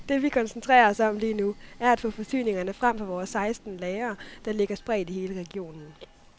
Det vi koncentrerer os om lige nu, er at få forsyninger frem fra vores seksten lagre, der ligger spredt i hele regionen.